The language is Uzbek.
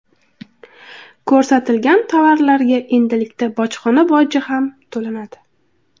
Ko‘rsatilgan tovarlarga endilikda bojxona boji ham to‘lanadi.